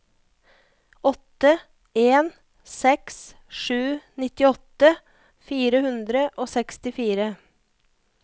åtte en seks sju nittiåtte fire hundre og sekstifire